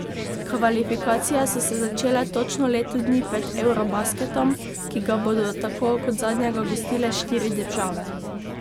Kvalifikacije so se začele točno leto dni pred eurobasketom, ki ga bodo tako kot zadnjega gostile štiri države.